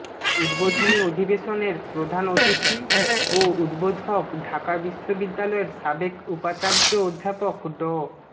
উদ্বোধনী অধিবেশনের প্রধান অতিথি ও উদ্বোধক ঢাকা বিশ্ববিদ্যালয়ের সাবেক উপাচার্য অধ্যাপক ড